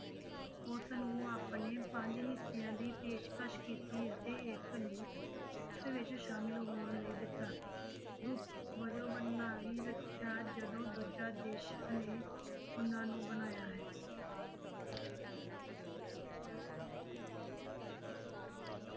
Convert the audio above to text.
ਉੁਸਨੂੰ ਆਪਣੇ ਪੰਜ ਹਿੱਸਿਆਂ ਦੀ ਪੇਸ਼ਕਸ ਕੀਤੀ ਅਤੇ ਇੱਕ ਨੂੰ ਉਸ ਵਿੱਚ ਸ਼ਾਮਿਲ ਹੋਣ ਲਈ ਦਿੱਤਾ, ਗੁਪਤ ਵਜੋਂ ਬਣਨਾ ਹੀ ਰੱਖਿਆ ਜਦੋਂ ਦੂਜਾ ਦੇਸਾਂ ਨੇ ਉਹਨਾਂ ਨੂੰ ਬਣਾਇਆ ਹੈ।